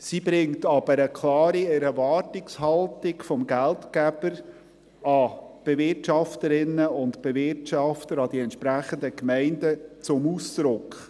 Sie bringt aber eine klare Erwartungshaltung des Geldgebers an die Bewirtschafterinnen und Bewirtschafter, an die entsprechenden Gemeinden zum Ausdruck.